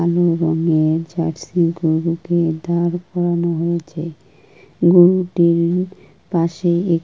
মেয়ে জার্সি গরুকে দাঁড় করানো হয়েছে গরুটি-ইর পাশে এ --